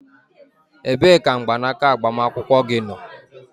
Ebee ka mgbanaka agbamakwụkwọ gị nọ?